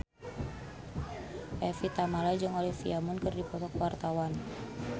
Evie Tamala jeung Olivia Munn keur dipoto ku wartawan